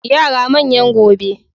Yara manyan gobe.